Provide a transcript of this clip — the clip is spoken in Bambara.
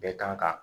Bɛɛ kan ka